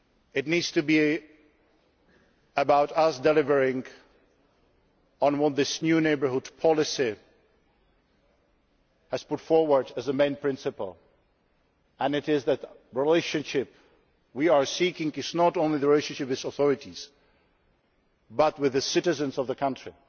It needs to be about us delivering on what this new neighbourhood policy has put forward as the main principle that the relationship we are seeking is not only with the authorities but with the citizens of the